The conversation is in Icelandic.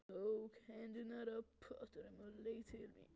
Hún tók hendurnar af pottunum og leit til mín.